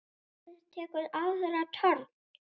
Barnið tekur aðra törn.